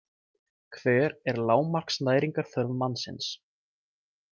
Hver er lágmarksnæringarþörf mannsins?